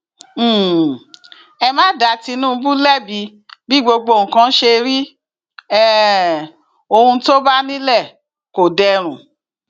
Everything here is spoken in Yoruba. um ẹ má dá tinúbù lẹbi bí gbogbo nǹkan ṣe rí um ohun tó bá nílẹ kò dẹrùn